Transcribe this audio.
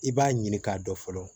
I b'a ɲini k'a dɔn fɔlɔ